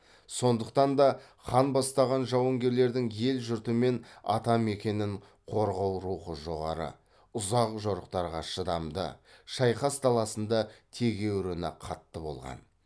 сондықтан да хан бастаған жауынгерлердің ел жұрты мен ата мекенін қорғау рухы жоғары ұзақ жорықтарға шыдамды шайқас даласында тегеуріні қатты болған